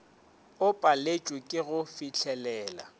o paletšwe ke go fihlelela